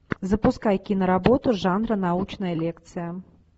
запускай киноработу жанра научная лекция